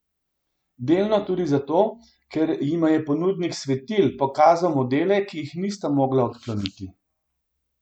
Delno tudi zato, ker jima je ponudnik svetil pokazal modele, ki jih nista mogla odkloniti.